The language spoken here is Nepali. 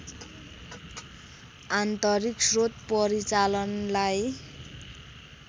आन्तरिक स्रोत परिचालनलाई